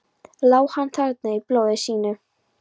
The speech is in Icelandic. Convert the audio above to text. Lá hann þarna í blóði sínu?